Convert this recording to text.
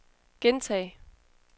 gentag